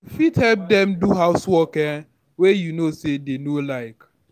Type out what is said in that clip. You fit help them do house work um wey you know sey dem no like